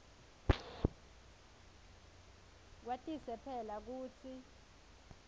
kwatise phela kutsi